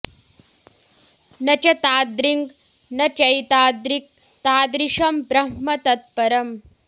न च तादृङ् न चैतादृक् तादृशं ब्रह्म तत्परम्